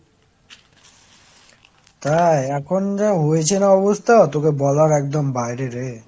তাই, এখন যা হয়েছে না অবস্থা, তোকে বলার একদম বাইরে রে।